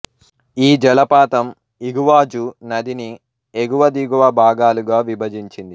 ఈ జలపాతం ఇగువాజు నదిని ఎగువ దిగువ భాగాలుగా విభజించింది